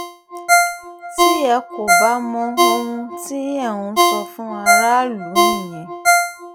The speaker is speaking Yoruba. tí ẹ kò bá mọ ohun tí ẹ̀ ń sọ fún aráàlú nìyẹn